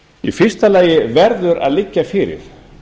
í fyrsta lagi verður að liggja fyrir